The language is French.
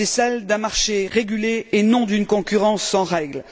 C'est celui d'un marché régulé et non d'une concurrence sans règles.